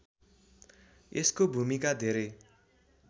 यसको भूमिका धेरै